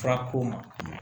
Fura ko ma